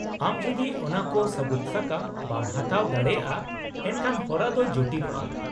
-ᱟᱢ ᱡᱩᱫᱤ ᱚᱱᱟ ᱠᱚ ᱥᱟᱹᱵᱩᱫᱥᱟᱠᱟᱢ ᱵᱟᱢ ᱦᱟᱛᱟᱣ ᱫᱟᱲᱮᱭᱟᱜᱼᱟ, ᱮᱱᱠᱷᱟᱱ ᱦᱚᱨᱟ ᱫᱚ ᱡᱚᱴᱤᱞᱚᱜᱼᱟ ᱾